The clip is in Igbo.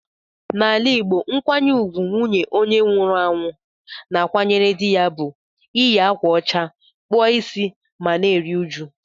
N'ala Igbo, nkwanye ùgwù nwunye onye nwụrụ anwụ na-akwanyere dị ya bụ iyi ákwà ụcha, kpụọ ịsị ma na-eru uju.